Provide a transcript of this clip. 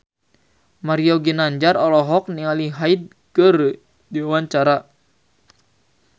Mario Ginanjar olohok ningali Hyde keur diwawancara